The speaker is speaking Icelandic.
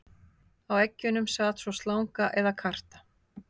Á eggjunum sat svo slanga eða karta.